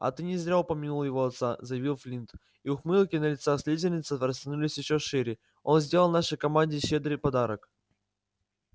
а ты не зря упомянул его отца заявил флинт и ухмылки на лицах слизеринцев растянулись ещё шире он сделал нашей команде щедрый подарок